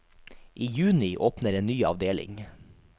I juni åpner en ny avdeling.